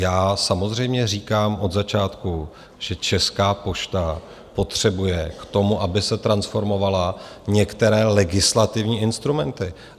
Já samozřejmě říkám od začátku, že Česká pošta potřebuje k tomu, aby se transformovala, některé legislativní instrumenty.